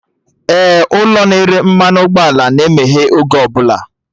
Ee, ụlọ na-ere mmanụ ụgbọ ala na-emeghe oge ọbụla